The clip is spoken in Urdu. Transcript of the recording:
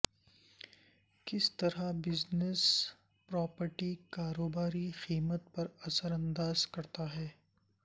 کس طرح بزنس پراپرٹی کاروباری قیمت پر اثر انداز کرتا ہے